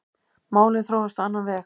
Málin þróuðust á annan veg.